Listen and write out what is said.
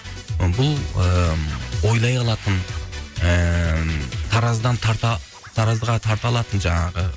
бұл ы ойлай алатын ыыы таразыдан тарта таразға тарта алатын жаңағы